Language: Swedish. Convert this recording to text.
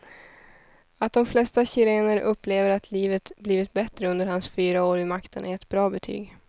Att de flesta chilener upplever att livet blivit bättre under hans fyra år vid makten är ett bra betyg.